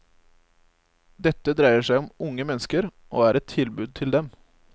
Dette dreier seg om unge mennesker, og er et tilbud til dem.